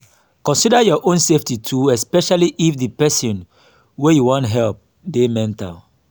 consider your own safety too especially if di person wey you wan help dey mental